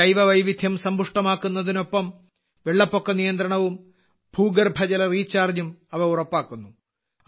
ജൈവവൈവിധ്യം സമ്പുഷ്ടമാക്കുന്നതിനൊപ്പം വെള്ളപ്പൊക്ക നിയന്ത്രണവും ഭൂഗർഭജല റീചാർജും അവ ഉറപ്പാക്കുന്നു